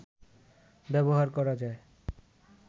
ব্যবহার করা যায়